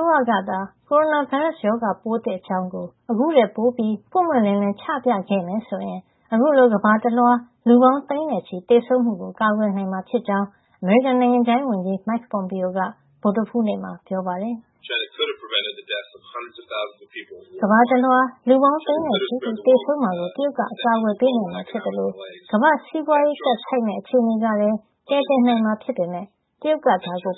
ိုးရကသာ ကိုရိုနာဗိုင်းရပ်စ် ရောဂါပိုးသစ် အကြောင်း အခုထက်ပိုပြီး ပွင့်ပွင့်လင်းလင်း ချပြခဲ့မယ်ဆိုရင် အခုလို ကမ္ဘာတလွှား လူပေါင်း သိန်းနဲ့ချီ သေဆုံးမှုကို ကာကွယ်နိုင်မှာ ဖြစ်ကြောင်း အမေရိကန်နိုင်ငံခြားရေးဝန်ကြီး Mike Pompeo က ဗုဒ္ဓဟူူးနေ့မှာ ပြောပါတယ်။ “ကမ္ဘာတလွှား လူပေါင်းသိန်းနဲ့ချီ သေဆုံးမှာကို တရုတ်က အကာကွယ်ပေးနိုင်မှာ ဖြစ်သလို ကမ္ဘာ့စီးပွါးရေးကပ်ဆိုက်မယ့် အခြေနေကလည်း ကယ်တင်နိုင်မှာ ဖြစ်ပေမယ့် တရုတ်က